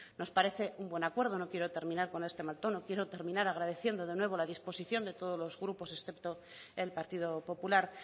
nos parece un buen acuerdo no quiero terminar con este mal tono quiero terminar agradeciendo de nuevo la disposición de todos los grupos excepto el partido popular